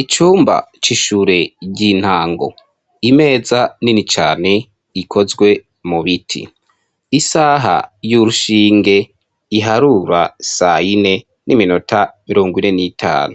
Icumba c'ishure ry'intango, imeza nini cane ikozwe mu biti, isaha y'urushinge iharura sayine n'iminota mirongo ine n'itanu,